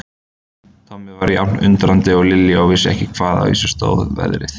Tommi var jafn undrandi og Lilja og vissi ekki hvaðan á sig stóð veðrið.